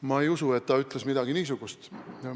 Ma ei usu, et ta ütles midagi niisugust.